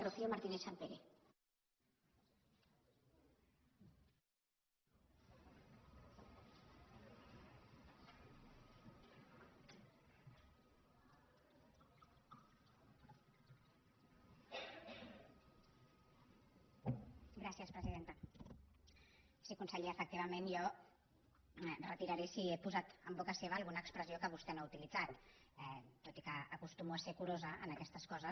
sí conseller efectivament jo ho retiraré si he posat en boca seva alguna expressió que vostè no ha utilitzat tot i que acostumo a ser curosa en aquestes coses